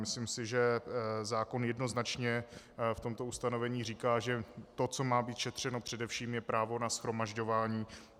Myslím si, že zákon jednoznačně v tomto ustanovení říká, že to, co má být šetřeno především, je právo na shromažďování.